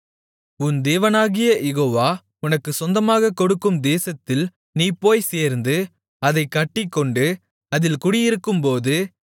உன் தேவனாகிய யெகோவா உனக்குச் சொந்தமாகக் கொடுக்கும் தேசத்தில் நீ போய்ச் சேர்ந்து அதைக் கட்டிக்கொண்டு அதில் குடியிருக்கும்போது